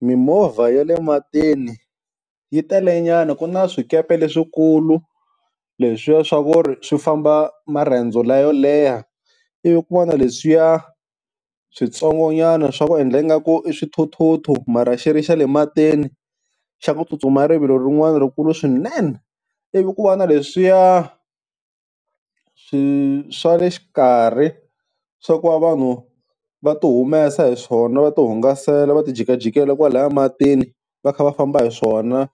Mimovha ya le matini yi telenyana ku na swikepe leswikulu, leswiya swa ku ri swi famba marendzo la yo leha. Ivi ku va na leswiya switsongonyana swa ku endla ingaku i swithuthuthu mara xi ri xa le matini xa ku tsutsuma rivilo rin'wani rikulu swinene. Ivi ku va na leswiya swi swa le xikarhi swa ku va vanhu va ti humesa hi swona va tihungasela va ti jikajikela kwalaya matini va kha va famba hi swona